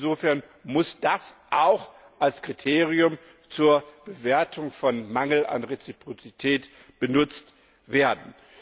Insofern muss das auch als Kriterium zur Bewertung von Mangel an Reziprozität benutzt werden.